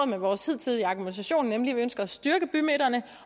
med vores hidtidige argumentation nemlig at vi ønsker at styrke bymidterne